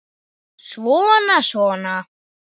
Svona. svona